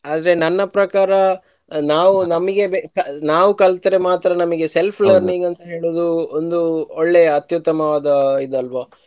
ಅದ್ರೆ ನನ್ನ ಪ್ರಕಾರ ನಾವು ನಮಿಗೆ ಬೇಕ~ ನಾವು ಕಲ್ತ್ರೆ ಮಾತ್ರ self learning ಅಂತ ಹೇಳೋದು ಒಂದು ಒಳ್ಳೆಯ ಅತ್ಯುತ್ತಮವಾದ ಇದಲ್ವ.